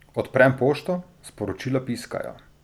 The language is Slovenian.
Odprem pošto, sporočila piskajo.